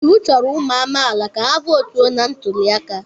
Iwu chọrọ ụmụ amaala ka ha votu na ntuli aka.